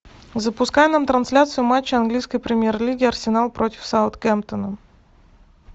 запускай нам трансляцию матча английской премьер лиги арсенал против саутгемптона